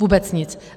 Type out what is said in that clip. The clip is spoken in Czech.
Vůbec nic!